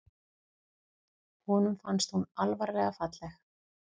Honum fannst hún alvarlega falleg.